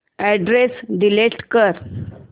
address delete कर